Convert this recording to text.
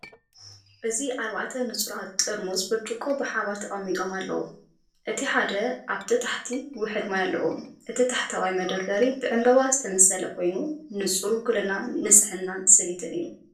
እዚ ኣርባዕተ ንጹራት ጥርሙዝ ብርጭቆ ብሓባር ተቀሚጦም ኣለው። እቲ ሓደ ኣብ ታሕቲ ውሑድ ማይ ኣለዎ። እቲ ታሕተዋይ መደርደሪ ብዕምባባ ዝተሰለመ ኮይኑ፡ ንጹር ውክልና ንጽህናን ስኒትን እዩ።